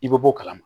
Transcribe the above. I bɛ bɔ o kalama